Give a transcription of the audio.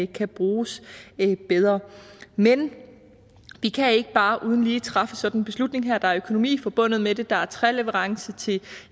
kan bruges bedre men vi kan ikke bare lige træffe sådan en beslutning her der er økonomi forbundet med det der er træleverance til